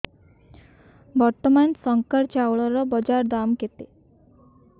ବର୍ତ୍ତମାନ ଶଙ୍କର ଚାଉଳର ବଜାର ଦାମ୍ କେତେ